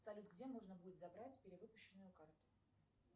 салют где можно будет забрать перевыпущенную карту